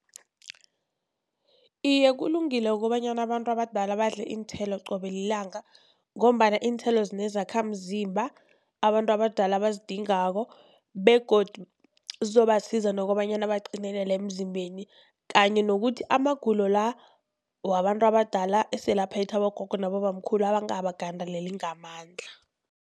Iye, kulungile kobanyana abantu abadala badle iinthelo qobe lilanga, ngombana iinthelo zinezakhamzimba abantu abadala abazidingako begodu zizobasiza nokobanyana baqinelele emzimbeni, kanye nokuthi amagulo la wabantu abadala esele aphethe abogogo nabobamkhulu angabagandeleli ngamandla.